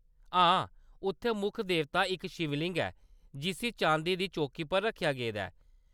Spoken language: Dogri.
हां, उत्थै मुक्ख देवता इक शिवलिंग ऐ जिस्सी चांदी दी चौकी पर रक्खेआ गेदा ऐ।